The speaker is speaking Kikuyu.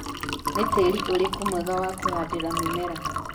nĩ tĩri ũrĩkũ mwega wa kũhandĩra mĩmera